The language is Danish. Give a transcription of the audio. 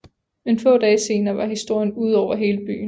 Men få dage senere var historien ude over hele byen